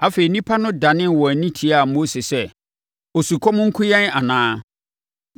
Afei, nnipa no danee wɔn ani tiaa Mose sɛ, “Osukɔm nku yɛn anaa?”